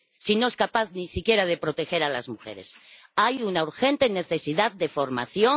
Si no es capaz ni siquiera de proteger a las mujeres. Hay una urgente necesidad de formación